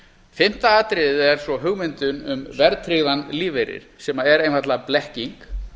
fimmta atriðið er svo hugmyndin um verðtryggðan lífeyri sem er einfaldlega blekking